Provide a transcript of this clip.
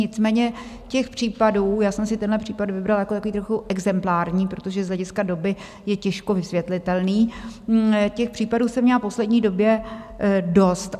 Nicméně těch případů - já jsem si tenhle případ vybrala jako takový trochu exemplární, protože z hlediska doby je těžko vysvětlitelný - těch případů jsem měla v poslední době dost.